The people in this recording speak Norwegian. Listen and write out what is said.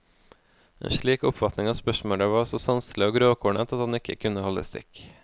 En slik oppfatning av spørsmålet var så sanselig og grovkornet, at den ikke kunne holde stikk.